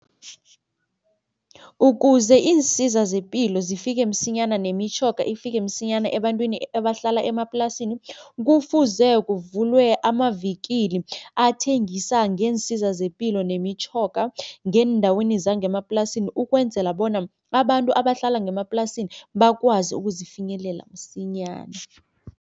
Ukuze iinsiza zepilo zifike msinyana nemitjhoga ifike msinyana ebantwini ebahlala emaplasini kufuze, kuvulwe amavikili athengisa ngeensiza zepilo nemitjhoga ngeendaweni zangemaplasini ukwenzela bona abantu abahlala ngemaplasini bakwazi ukuzifinyelela msinyana.